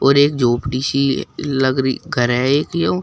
और एक झोपड़ी सी लग रही घर है एक यो--